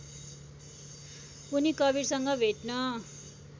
उनी कवीरसँग भेट्न